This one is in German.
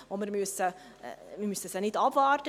Wir müssen dieses nicht abwarten.